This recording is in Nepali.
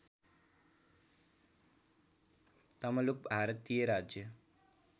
तमलुक भारतीय राज्य